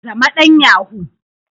Zama dan yahoo.